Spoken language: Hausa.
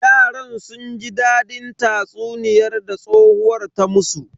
Yaran sun ji dadin tatsuniyan da tsohuwar ta musu.